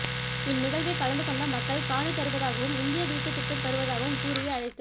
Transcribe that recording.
இந்நிகழ்வில் கலந்து கொண்ட மக்கள் காணி தருவதாகவும் இந்திய வீட்டு திட்டம் தருவதாகவும் கூறியே அழைத்து